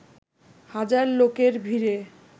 হাজার লোকের ভিড়ে